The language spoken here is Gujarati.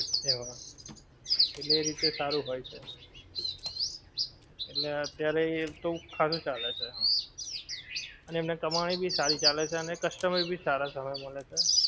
એવા. એટલે એ રીતે સારું હોય છે. એટલે અત્યારે એમતો ખરું ચાલે છે. અને એમને કમાણી ભી સારી ચાલે છે અને customer ભી સારા સારા માલે છે